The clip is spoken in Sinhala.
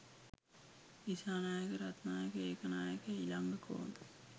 දිසානායක රත්නායක ඒකනායක ඉලංගකෝන්